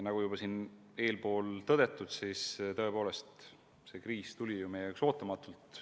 Nagu eespool tõdetud, siis tõepoolest, see kriis tuli meie jaoks ootamatult.